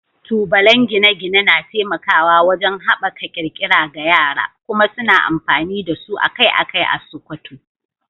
Tubalen gine-gine na taimakawa wajen haɓaka ƙirƙira ga yara, kuma suna amfani da su akai-akai a Sokoto.